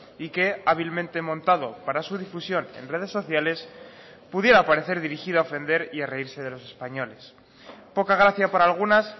y que hábilmente montado para su difusión en redes sociales pudiera parecer dirigido a ofender y a reírse de los españoles poca gracia para algunas